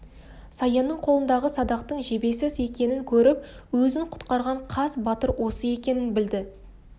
саянның қолындағы садақтың жебесіз екенін көріп өзін құтқарған қас батыр осы екенін білді